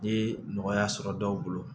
Ni nɔgɔya sɔrɔ dɔw bolo